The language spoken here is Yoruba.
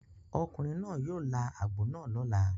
Ọkùnrin náà yóò là àgbò náà lọ́la.